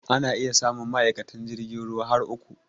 Ana iya samun ma'aikatan jirgin ruwa har uku.